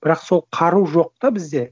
бірақ сол қару жоқ та бізде